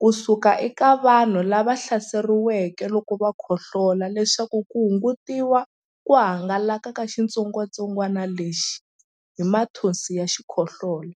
ku suka eka vanhu lava hlaseriweke loko va khohlola leswaku ku hungutiwa ku hangalaka ka xitsongwantsongwana lexi hi mathonsi ya xikhohlola.